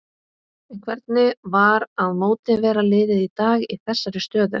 En hvernig var að mótivera liðið í dag í þessari stöðu?